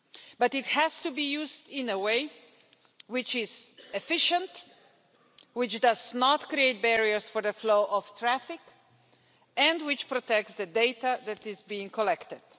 But it has to be used in a way which is efficient, which does not create barriers to the flow of traffic and which protects the data that is being collected.